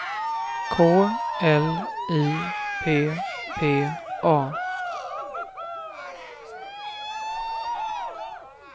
K L I P P A